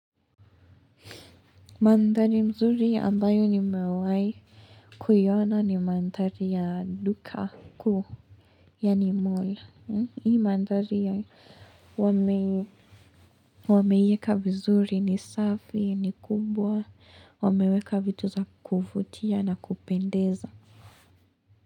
Mandhari mzuri ambayo nimewahi kuiona ni mandhari ya duka kuu. Yaani mall, hii mandhari wameiyeka vizuri ni safi, ni kumbwa, wameweka vitu za kuvutia na kupendeza.